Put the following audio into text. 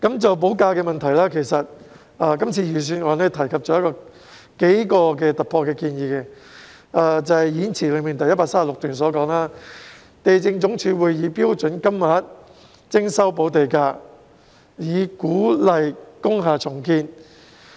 就補地價的問題，今次預算案提出了數項突破性建議，即演辭第136段所述，地政總署會以"標準金額"徵收補地價，以鼓勵工廈重建。